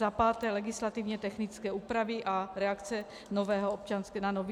Za páté legislativně technické úpravy a reakce na nový občanský zákoník.